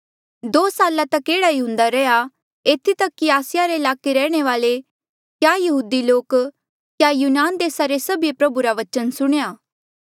दो साल तक एह्ड़ा ई हुन्दा रैंहयां एथी तक कि आसिया रे ईलाके रे रैहणे वाले क्या यहूदी लोक क्या यूनान देसा रे सभीए प्रभु रा बचन सुणेया